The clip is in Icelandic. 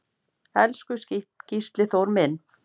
Elsku Gísli Þór minn.